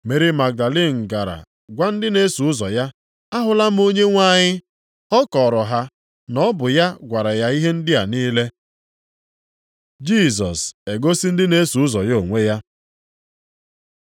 Meri Magdalin gara gwa ndị na-eso ụzọ ya, “Ahụla m Onyenwe anyị.” Ọ kọọrọ ha na ọ bụ ya gwara ya ihe ndị a niile. Jisọs egosi ndị na-eso ụzọ ya onwe ya